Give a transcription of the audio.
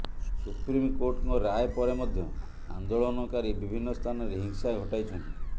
ସୁପ୍ରିମକୋର୍ଟଙ୍କ ରାୟ ପରେ ମଧ୍ୟ ଆନ୍ଦୋଳନକାରୀ ବିଭିନ୍ନ ସ୍ଥାନରେ ହିଂସା ଘଟାଇଛନ୍ତି